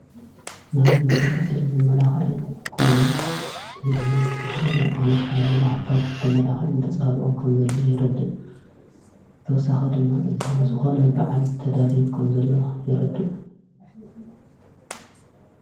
ናይ መገህፅን መመላኽዐን ኮይኑ እዚ ድማ ብዝተፈላለ ዓይናት መመላኽዕታት ተመላኽዕን ተጸሃልኦም ከም ዘለ ይረድእ ተወሳኺ ድማ እዙይ ንዝኾነ በዓል ተዳልዩ ኸም ዘለ የረድእ።